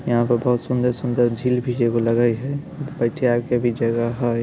यहाँ पर बहुत सुंदर सुन्दर झील भी हैगो लगाई हैं बैठण का वि जगह हैं।